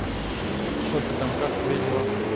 что ты там как твои дела